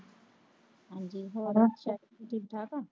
ਹਾਂਜੀ Hello ਸਤਿ ਸ੍ਰੀ ਅਕਾਲ ਠੀਕ ਠਾਕ ਹੋ